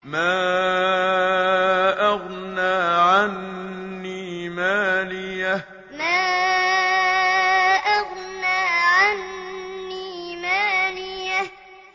مَا أَغْنَىٰ عَنِّي مَالِيَهْ ۜ مَا أَغْنَىٰ عَنِّي مَالِيَهْ ۜ